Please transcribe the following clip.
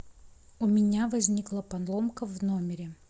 у меня возникла поломка в номере